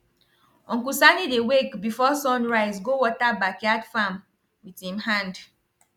uncle sani dey wake before sun rise go water backyard farm with him hand